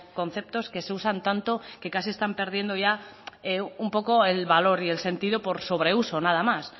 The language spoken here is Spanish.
conceptos que se usan tanto que casi están perdiendo ya un poco el valor y el sentido por sobreuso nada más